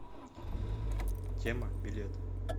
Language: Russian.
тема билет